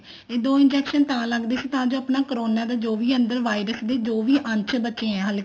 ਇਹ ਦੋ injection ਤਾਂ ਲੱਗਦੇ ਸੀ ਤਾਂ ਜੋ ਆਪਾਂ corona ਦਾ ਜੋ ਵੀ ਅੰਦਰ virus ਦੇ ਜੋ ਵੀ ਅੰਸ਼ ਬਚੇ ਆ ਹਲੇ